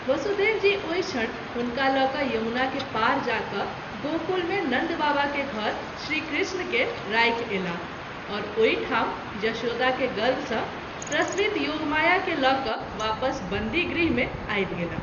वसुदेव जी ओहि क्षण हुनका ल’क’ यमुना के पार जा क’ गोकुल मे नन्द बाबा के घर श्री कृष्ण के राखि अयलाह और ओहि ठाम यशोदा के गर्भ सँ प्रसवित योगमााया के ल’ वापस बंदी गृह मे आबि गेलाह।